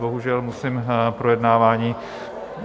Bohužel musím projednávání...